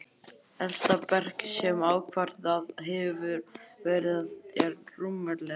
Elsta berg, sem ákvarðað hefur verið, er rúmlega